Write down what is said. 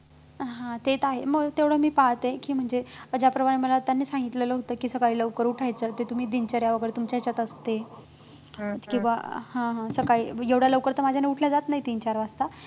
हा ते तर आहे मग तेवढं मी पाळते की म्हणजे ज्याप्रमाणे मला त्यांनी सांगितलेलं होतं की सकाळी लवकर उठायचं ते तुम्ही दिनचर्या वैगेरे तुमच्या ह्याच्यात असते किंवा हा हा सकाळी एवढ्या लवकर तर माझ्याच्यानं उठलं जात नाही तीन-चार वाजता